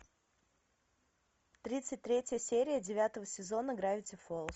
тридцать третья серия девятого сезона гравити фолз